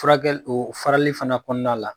Furakɛli farali fana kɔnɔna la